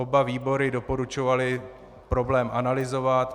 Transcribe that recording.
Oba výbory doporučovaly problém analyzovat.